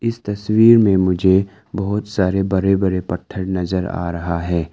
इस तस्वीर में मुझे बहुत सारे बड़े बड़े पत्थर नजर आ रहा है।